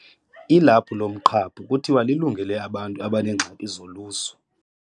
Ilaphu lomqhaphu kuthiwa lilungele abantu abaneengxaki zolusu.